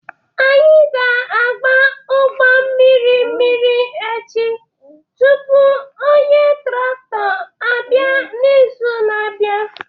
Anyị ga-agba ugbo mmiri mmiri echi tupu onye traktọ abịa n'izu na-abịa.